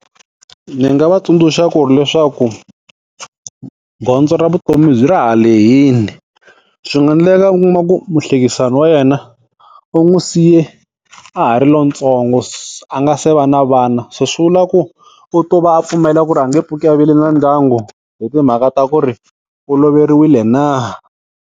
Ndzi nga va tsundzuxa ku ri leswaku, gondzo ra vutomi ra ha lehile. Swi nga endleka u kuma ku muhlekisani wa yena u n'wi siye a ha ri lontsongo, a nga se va na vana. Se swi vula ku, u to va a pfumela ku ri a nge pfuki a vile na ndyangu hi timhaka ta ku ri u loveriwile na?